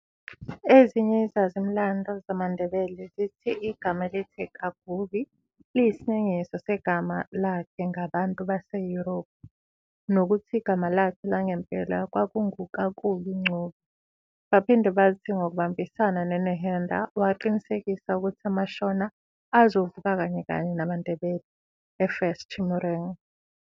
Ezinye izazi-mlando zamaNdebele zithi igama elithi "Kaguvi" liyisinengiso segama lakhe ngabantu baseYurophu, nokuthi igama lakhe langempela kwakungu "Kakubi Ncube". Baphinde bathi ngokubambisana noNehenda, waqinisekisa ukuthi amaShona azovuka kanyekanye namaNdebele eFirst Chimurenga.